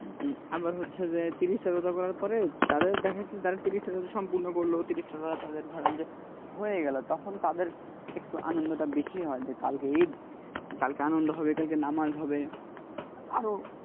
আবার হচ্ছে যে তিশির টা রোজা করার পরে তাদের দেখা যাচ্ছে যারা তিরিশ টা রোজা সম্পূর্ণ করল তিরিশ টা রোজা তাদের ধরেন যে হয়ে গেলো তখন তাদের একটু আনন্দ টা বেশি হয় যে কালকে ঈদ কালকে আনন্দ হবে কালকে নামাজ হবে আরো